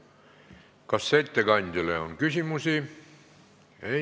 Kas ettekandjale on küsimusi?